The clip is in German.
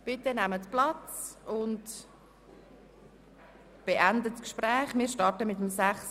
Bitte nehmen Sie Platz und beenden Sie Ihre Gespräche.